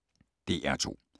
DR2